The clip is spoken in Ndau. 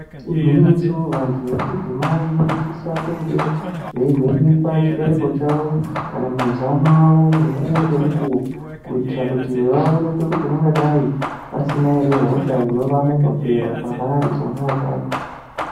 Igwinyiso vantu vechidzimai vanosisa kunge veivhenekwa chibereko kana mazamo avo mukuwo ngemukuwo kuitira kuti vaonekwe kuti vangadai vasina ere hosha inovamomotera pavari pona apapo.